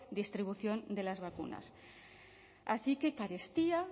distribución de las vacunas así que carestía